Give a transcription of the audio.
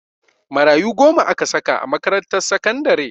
Marayu goma aka saka a makarantar sakandare